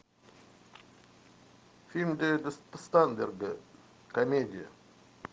фильм дэвида стейнберга комедия